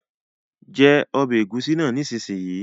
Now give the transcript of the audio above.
Jẹ ọbẹ̀ ẹ̀gúsí náà nísinsìnyí!